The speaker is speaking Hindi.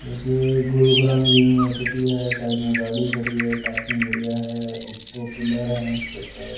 देखिये गुरुग्राम यूनिवर्सिटी है साइड में गाड़ी खड़ी है पार्किंग एरिया है दो पिलर है उसके ऊपर--